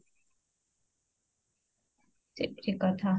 ସେବି ଠିକ କଥା